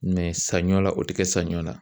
san ɲɔn la,o ti kɛ sanɲɔ la.